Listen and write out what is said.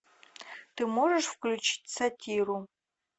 ты можешь включить сатиру